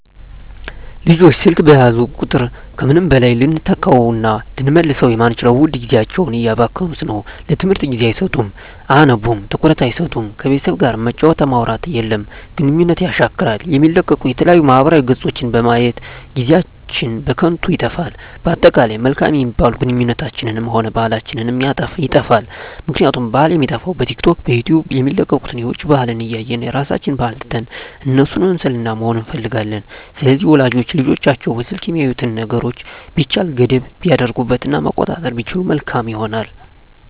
ልጆች ስልክ በያዙ ቁጥር ከምንም በላይ ልንተካዉእና ልንመልሰዉ የማንችለዉን ዉድ ጊዜያቸዉን እያባከኑት ነዉ ለትምህርት ጊዜ አይሰጡም አያነቡም ትኩረት አይሰጡም ከቤተሰብ ጋርም መጫወት ማዉራት የለም ግንኙነትን የሻክራል የሚለቀቁ የተለያዩ ማህበራዊ ገፆችን በማየት ጊዜአችን በከንቱ ይጠፋል በአጠቃላይ መልካም የሚባሉ ግንኙነታችንንም ሆነ ባህላችንንም ይጠፋል ምክንያቱም ባህል የሚጠፋዉ በቲክቶክ በዩቲዩብ የሚለቀቁትን የዉጭ ባህልን እያየን የራሳችንን ባህል ትተን እነሱን መምሰልና መሆን እንፈልጋለን ስለዚህ ወላጆች ለልጆቻቸዉ በስልክ የሚያዩትን ነገሮች ቢቻል ገደብ ቢያደርጉበት እና መቆጣጠር ቢችሉ መልካም ይሆናል